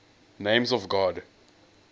names of god